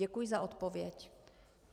Děkuji za odpověď.